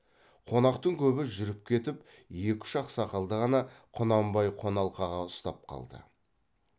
қонақтың көбі жүріп кетіп екі үш ақсақалды ғана құнанбай қоналқаға ұстап қалды